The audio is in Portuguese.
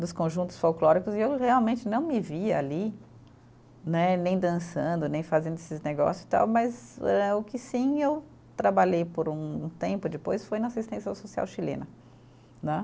dos conjuntos folclóricos e eu realmente não me via ali né, nem dançando, nem fazendo esses negócios tal, mas eh o que sim eu trabalhei por um tempo depois foi na assistência social chilena né.